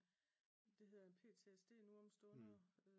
Det hedder jo PTSD nu om stunder